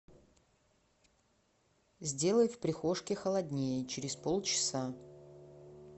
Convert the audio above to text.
сделай в прихожке холоднее через полчаса